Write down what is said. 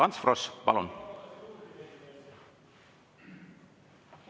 Ants Frosch, palun!